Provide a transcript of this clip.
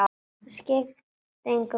Það skipti engu máli lengur.